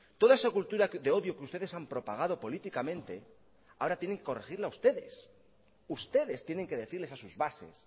toda esa cultura de odio que ustedes han propagado políticamente ahora tienen que corregirla ustedes ustedes tienen que decirles a sus bases